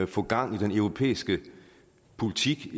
få gang i den europæiske politik